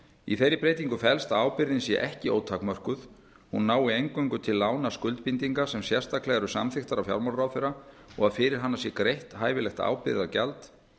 í þeirri breytingu felst að ábyrgðin sé ekki ótakmörkuð hún nái eingöngu til lánaskuldbindinga sem sérstaklega eru samþykktar af fjármálaráðherra og að fyrir hana sé greitt hæfilegt ábyrgðargjald